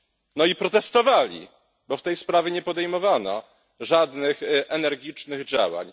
No i protestowali, bo w tej sprawie nie podejmowano żadnych energicznych działań.